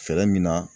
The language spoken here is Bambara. Fɛɛrɛ min na